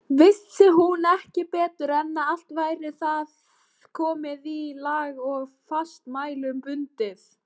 Vissi hún ekki betur en að allt væri það komið í lag og fastmælum bundið.